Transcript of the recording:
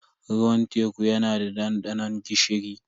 Ruwan teku yana da dandanon gishiri.